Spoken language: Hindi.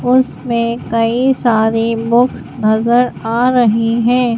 और उसमें कई सारी बुक्स नजर आ रही है।